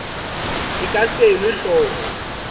e ka se elwe hloko